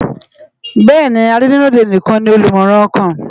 Béèni àrinù ri ódé nikán ni ólùmòrán òkán